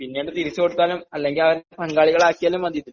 പിന്നീട് തിരിച്ചു കൊടുത്താലും അല്ലെങ്കിൽ അവരെ പങ്കാളികളാക്കിയാലും മതി